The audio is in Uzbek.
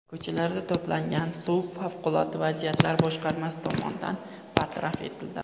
Ko‘chalardan to‘plangan suv Favqulodda vaziyatlar boshqarmasi tomonidan bartaraf etildi.